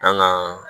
An ka